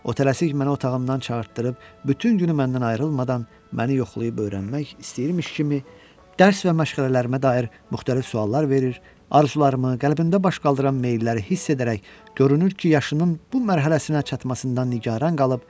O tələsik məni otağımdan çağırtdırıb bütün günü məndən ayrılmadan məni yoxlayıb öyrənmək istəyirmiş kimi dərs və məşğələlərimə dair müxtəlif suallar verir, arzularımı, qəlbində baş qaldıran meyilləri hiss edərək görünür ki, yaşının bu mərhələsinə çatmasından nigaran qalıb.